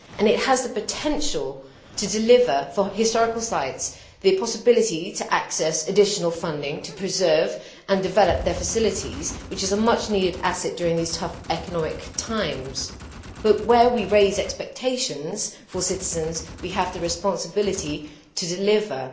The project has the potential to deliver for historical sites the possibility to access additional funding and to preserve and develop their facilities, which is a much needed asset during these tough economic times, but where we raise expectations for citizens, we have the responsibility to deliver.